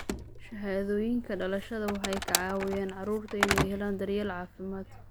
Shahaadooyinka dhalashada waxay ka caawiyaan carruurta inay helaan daryeel caafimaad.